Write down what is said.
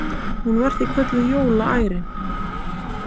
Hún var því kölluð jólaærin.